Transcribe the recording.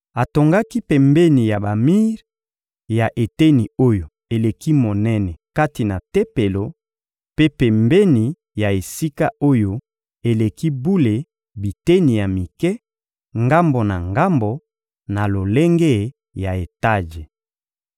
Atongaki pembeni ya bamir ya eteni oyo eleki monene kati na Tempelo mpe pembeni ya Esika-Oyo-Eleki-Bule biteni ya mike, ngambo na ngambo, na lolenge ya etaje.